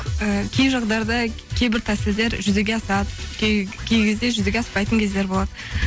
ііі кей жағдайда кейбір тәсілдер жүзеге асады кей кезде жүзеге аспайтын кездер болады